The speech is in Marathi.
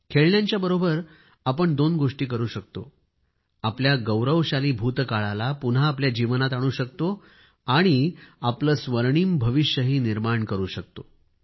खेळण्यांच्याबरोबरच आपण दोन गोष्टी करू शकतो आपल्या गौरवशाली भूतकाळाला पुन्हा आपल्या जीवनात आणू शकतो आणि आपले स्वर्णिम भविष्यही निर्माण करू शकतो